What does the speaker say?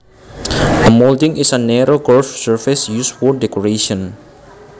A molding is a narrow curved surface used for decoration